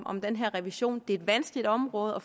om den her revision det er et vanskeligt område og